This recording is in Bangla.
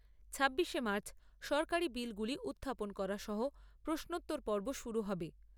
ছাব্বিশে মার্চ সরকারী বিলগুলি উত্থাপন করা সহ প্রশ্নোত্তর পর্ব শুরু হবে।